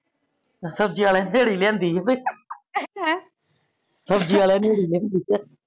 ਸਬਜੀਆਂ ਆਲੇ ਨੇ ਰਿਹੜੀ ਲਿਆਂਦੀ ਆ ਭਈ ਸਬਜੀ ਵਾਲੇ ਨੇ ਰਿਹੜੀ ਲਿਆਂਦੀ